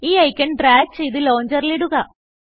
ഈ icon drag ചെയ്ത് ലോഞ്ചറിൽ ഇടുക